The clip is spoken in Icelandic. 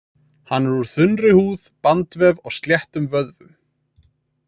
Hann er úr þunnri húð, bandvef og sléttum vöðvum.